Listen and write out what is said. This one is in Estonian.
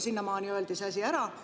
Sinnamaani öeldi see asi ära.